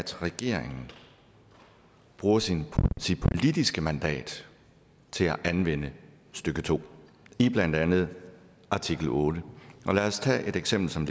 regeringen bruger sit politiske mandat til at anvende stykke to i blandt andet artikel ottende og lad os tage et eksempel som